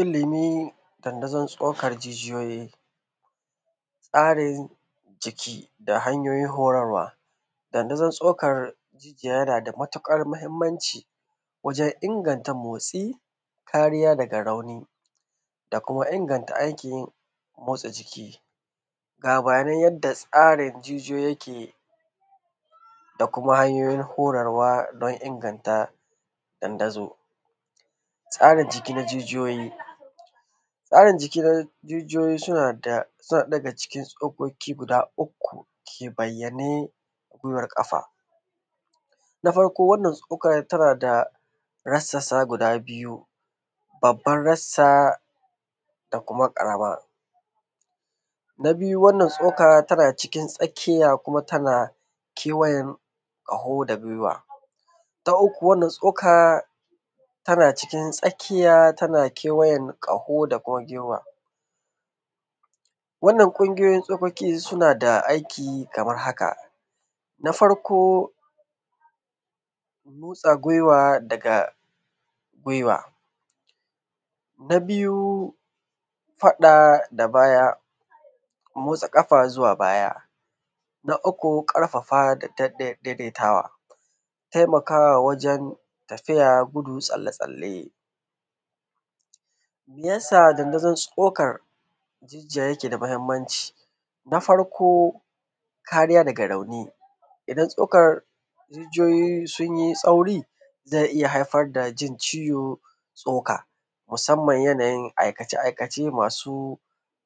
Ilimin dandazon tsakar jijiyoyi, tsarin jiki da hanyoyin horarwa. Dandazon tsokar jiki yanada matuƙar mahimmanci wajen inganta motsi, kariya daga rauni da kuma inganta aikin yi motsa jiki. Labarai yadda rsarin jijiyoyi yake da kuma hanyoyin horarwa dan inganta dandazo. Tsarin jiki na jijiyoyi tsarin jiki na jijiyoyi sunada hanyoyi guda uku ke bayyanane a kafa. Na farko wannan tsokar tanada rassa guda biyu babbar rassa da kuma ƙarama. Na biyu wannan tsoka tana cikin tsakiya kuma tana kaho da guiwa. Ta uku wannan tsoka tana cikin tsaki tana kewayen ƙaho da kuma guiwa wannan kungiyoyin tsokoki suna da aiki Kaman haka. Na farko motsa guiwa daga guiwa. Na biyu faɗa da baya motsa ƙafa zuwa baya. Na uku ƙarfafa da danne daidaitawa taiakawa wajen tafiya, gudu, tsalle tsalle. Mayesa dandazon tsokar ciki yake da mahimmanci? Na farko kariya daga rauni idan tsokar jijiyoyi sunyi rauni zai iyya haifar dajin ciwon tsokan musamman aikace aikace masu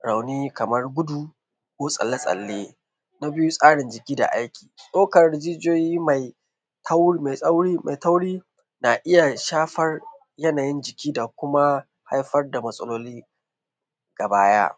rauni Kaman gudu ko tsalle tsalle. na biyu tsarin jiki da aiki tsokar jijiyoyi mai tauri na iyya shafar yanayin jiki da kuma haifar da matsaloli da baya.